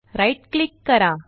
right click करा